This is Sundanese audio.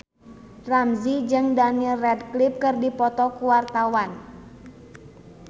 Ramzy jeung Daniel Radcliffe keur dipoto ku wartawan